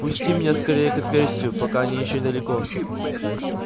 пусти меня скорее к отверстию пока они ещё недалеко